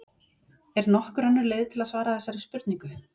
Er nokkur önnur leið til að svara þessari spurningu?